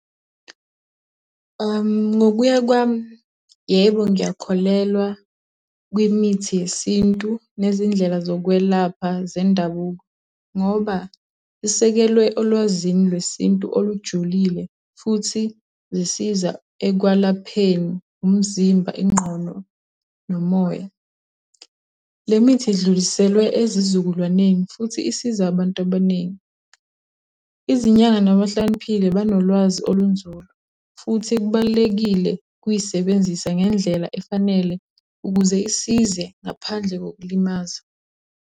Ngokuya kwami, yebo ngiyakholelwa kwimithi yesintu nezindlela zokwelapha zendabuko, ngoba isekelwe olwazini lwesintu olujulile futhi zisiza ekwalapheni umzimba, ingqondo nomoya. Le mithi idluliselwe ezizukulwaneni futhi isiza abantu abaningi. Izinyanga nabahlakaniphile banolwazi olunzulu. Futhi kubalulekile ukuy'sebenzisa ngendlela efanele ukuze isize ngaphandle kokulimaza.